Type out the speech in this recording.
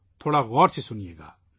تھوڑا غور سے سنیئے